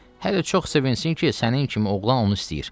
Hələ çox sevinsin ki, sənin kimi oğlan onu istəyir.